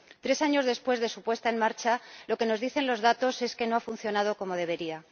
Tres años después de su puesta en marcha, lo que nos dicen los datos es que no ha funcionado como debería.